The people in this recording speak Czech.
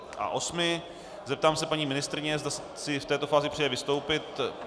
Zeptám se paní ministryně, zda si v této fázi přeje vystoupit.